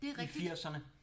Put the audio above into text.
Det er rigtigt